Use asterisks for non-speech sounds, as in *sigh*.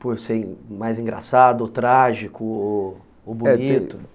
por ser mais engraçado, ou trágico, ou bonito. É *unintelligible*